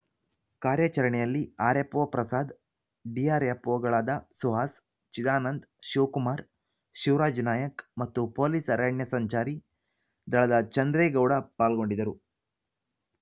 ಕಾರ್ಯಚರಣೆಯಲ್ಲಿ RFO Prasad ಡಿಆರ್‌ಎಫ್‌ಒಗಳಾದ ಸುಹಾಸ್‌ ಚಿದಾನಂದ ಶಿವಕುಮಾರ್‌ ಶಿವರಾಜ್‌ ನಾಯಕ್‌ ಮತ್ತು police ಅರಣ್ಯ ಸಂಚಾರಿ ದಳದ ಚಂದ್ರೇಗೌಡ ಪಾಲ್ಗೊಂಡಿದ್ದರು